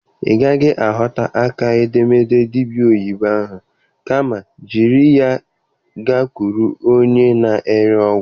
Ị gaghị aghọta aka edemede dibịa oyibo ahụ. Kama jiri ya gakwuru onye na-ere ọgwụ.